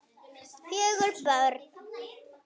Fjögur börn.